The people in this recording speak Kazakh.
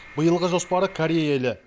биылғы жоспары корея елі